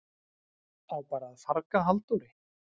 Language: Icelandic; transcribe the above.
Á bara að farga Halldóri?